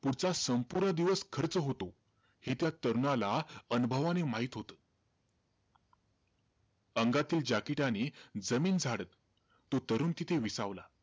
पुढचा संपूर्ण दिवस खर्च होतो, हे त्या तरुणाला अनुभवाने माहित होतं. अंगातील jacket ने जमीन झाडत, तो तरुण तिथे विसावला.